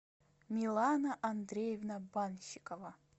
милана андреевна банщикова